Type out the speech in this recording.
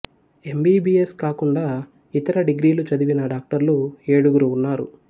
MBBS కాకుండా ఇతర డిగ్రీలు చదివిన డాక్టర్లు ఏడుగురు ఉన్నారు